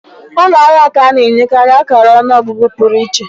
Ụlọ ahịa ka ana enye karị akara ọnụ ọgụgụ pụrụ iche.